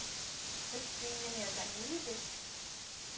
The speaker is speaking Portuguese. eu tinha minhas amigas.